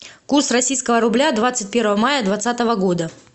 курс российского рубля двадцать первого мая двадцатого года